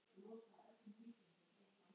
Hver gaf okkur þetta barn?